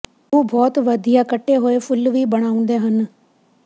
ਉਹ ਬਹੁਤ ਵਧੀਆ ਕੱਟੇ ਹੋਏ ਫੁੱਲ ਵੀ ਬਣਾਉਂਦੇ ਹਨ